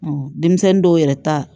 denmisɛnnin dɔw yɛrɛ ta